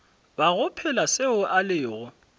bago phela seo a lego